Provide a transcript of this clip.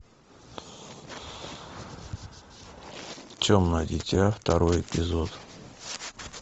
темное дитя второй эпизод